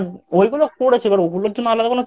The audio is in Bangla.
ওইগুলো করেছি ওইগুলোর জন্য আলাদা